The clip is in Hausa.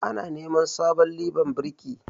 Ana neman sabon liban birki